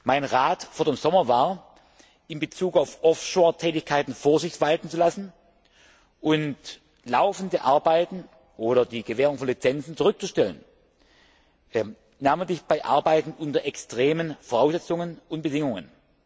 Mein Rat vor dem Sommer war, in Bezug auf Offshore Tätigkeiten Vorsicht walten zu lassen und laufende Arbeiten oder die Gewährung von Lizenzen zurückzustellen, namentlich bei Arbeiten unter extremen Voraussetzungen und Bedingungen.